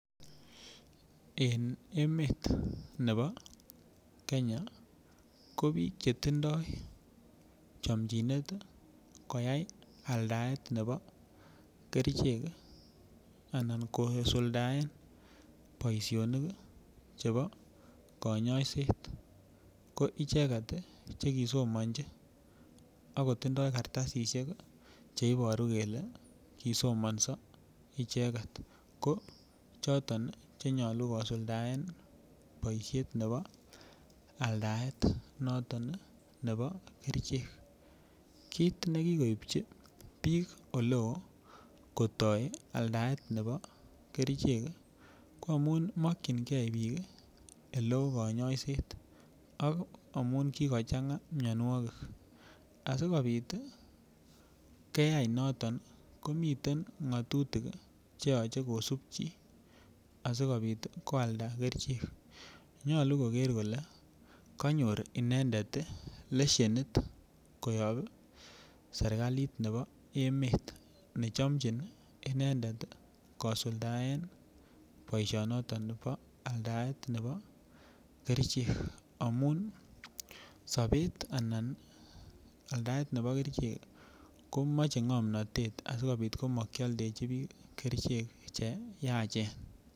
Eng' emet nepo Kenya ko piik chetindoy chamjinet koyai aldaet nepo kerchek anan kosuldaen boisionik chepo kanyoiset ko icheket chekisomanji akotindoy kartasishek cheiporu kele kisomanso icheket ko chotok chenyolu kosuldaen boisiet nepo aldaet noton nepo kerchek kiit nekigoipchi piik oloo kotoy aldaet nepo kerchek ko amun makchingei piik elo kanyoiset ak amun kigochang'a myonwogik asikopit keyai noton komiten ng'atutik cheyoche kosupchi asikopit koalda kerchek konyalu koger kole kanyor inendet leshenit koyok serikalit nepo emet necham in inendet kosuldaen boisionoton nepo aldaet nepo kerchek amun sopet anan aldaet nepo kerchek komache ng'omnatet asikopit makialdechin piik kerchek cheyachen.